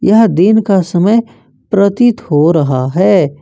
यह दिन का समय प्रतीत हो रहा है।